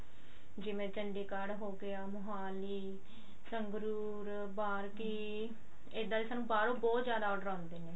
ਜਿਵੇਂ ਚੰੜੀਗੜ ਹੋਗੀਆ ਮੋਹਾਲੀ ਸੰਗਰੂਰ ਬਾਰ ਕੀ ਇੱਦਾ ਦੇ ਸਾਨੂੰ ਬਾਹਰੋਂ ਬਹੁਤ ਜਿਆਦਾ order ਆਉਂਦੇ ਨੇ